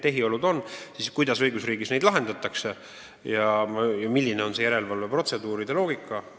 Ma kirjeldasin, kuidas õigusriigis neid olukordi lahendatakse ja milline on järelevalveprotseduuride loogika.